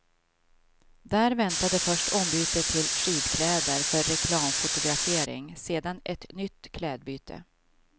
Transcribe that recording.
Där väntade först ombyte till skidkläder för reklamfotografering, sedan ett nytt klädbyte.